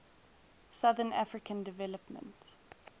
southern african development